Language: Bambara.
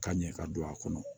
Ka ɲɛ ka don a kɔnɔ